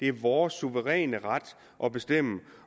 er vores suveræne ret at bestemme